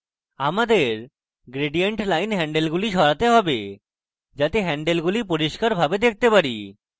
আমাদের gradient line হ্যান্ডেলগুলি সামান্য সরাতে have যাতে হ্যান্ডেলগুলি পরিষ্কারভাবে দেখতে পারি